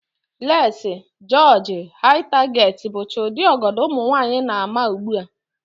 Leesi, jịọjị, Hai taget, bụcha ụdị ọgọdọ ụmụnwaanyị na-ama ugbu a